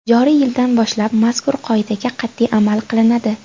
Joriy yildan boshlab mazkur qoidaga qat’iy amal qilinadi.